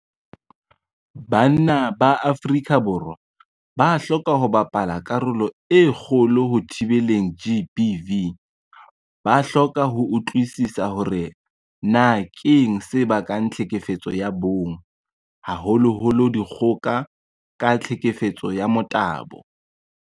Banna ba Afrika Borwa ba hloka ho bapala karolo e kgolo ho thibeleng GBV. Ba hloka ho utlwisisa hore na keng se bakang tlhekefetso ya bong, haholoholo dikgoka ka tlhekefetso ya motabo.